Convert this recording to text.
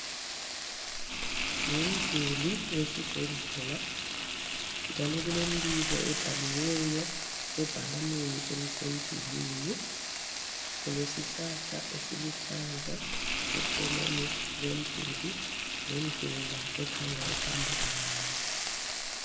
Ngumduli wesibhedlela njalo kulembiko ebhaliweyo ebhakaneni elisemdulwini ,kulesihlahla esiluhlaza eceleni komduli lendlela ekhanya ihamba abantu